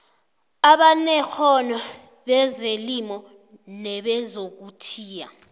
abanekghono bezelimo nebezokuthiya